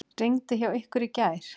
Rigndi hjá ykkur í gær?